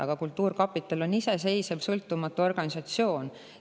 Aga kultuurkapital on iseseisev, sõltumatu organisatsioon.